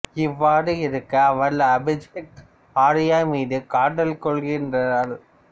இவ்வாறு இருக்க அவள் அபிஷேக் ஆர்யா மீது காதல் கொள்கின்றாள்